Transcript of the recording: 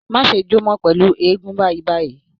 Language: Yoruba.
Má ṣe jó mọ́ pẹ̀lú eégún báyìí báyìí